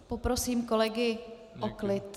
A poprosím kolegy o klid.